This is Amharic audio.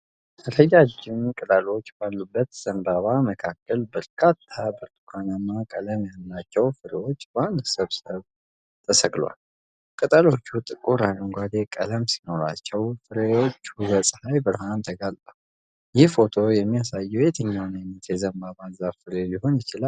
ረጃጅም ቅጠሎች ባሉት ዘንባባ መካከል፣ በርካታ ብርቱካናማ ቀለም ያላቸው ፍሬዎች በአንድ ስብስብ ተሰቅለዋል። ቅጠሎቹ ጥቁር አረንጓዴ ቀለም ሲኖራቸው፣ ፍሬዎቹ ለፀሐይ ብርሃን ተጋልጠዋል። ይህ ፎቶ የሚያሳየው የትኛውን ዓይነት የዘንባባ ዛፍ ፍሬ ሊሆን ይችላል?